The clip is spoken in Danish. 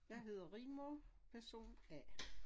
Jeg hedder Rigmor person A